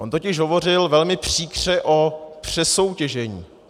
On totiž hovořil velmi příkře o přesoutěžení.